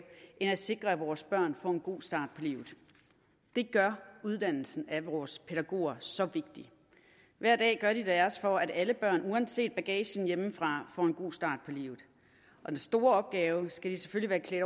end at sikre at vores børn får en god start på livet det gør uddannelsen af vores pædagoger så vigtig hver dag gør de deres for at alle børn uanset bagagen hjemmefra får en god start på livet den store opgave skal de selvfølgelig